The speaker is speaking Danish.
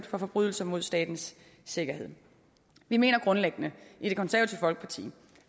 for forbrydelser mod statens sikkerhed vi mener grundlæggende i det konservative folkeparti